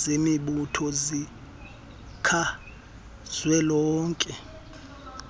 zemibutho zikazwelonke